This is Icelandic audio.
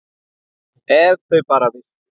Ef þau bara vissu!